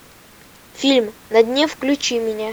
фильм на дне включи мне